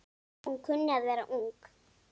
Hún kunni að vera ung.